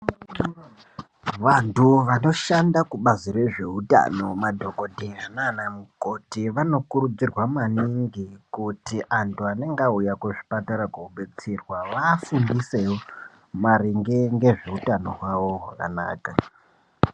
Vantu vanoshanda kubazi rezveutano madhokotera nana mukoti vanokurudzirwa maningi kuti antu anenge auya kuzvipatara kobetserwa vafundise maringe ngezveutano hwavo hwakanaka.